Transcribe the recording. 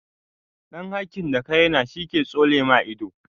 Ɗan hakin da ka raina shi ke tsole ma ido.